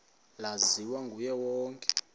laziwa nguye wonke